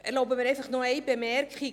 Ich erlaube mir noch eine Bemerkung.